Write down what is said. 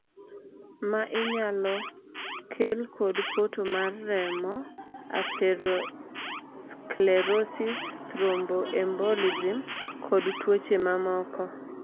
ma inyalo kel kod poto mar remo (atherosclerosis, thromboembolism) kod tuoche mamoko